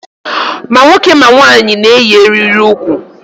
Ma nwoke ma nwanyị na-eyi eriri ukwu.